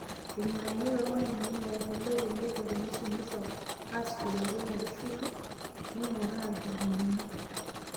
Irng'anayio toormalimuni: Maendeleo teneiko teneisumisho, aasishore enkutuk naitushulu, neing'uraa nchugulini.